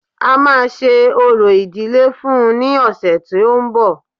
A máa ṣe orò ìdílé fún-un ní ọ̀sẹ̀ tí ó ń bọ̀